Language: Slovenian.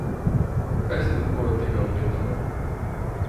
Kaj si lahko od tega obetamo?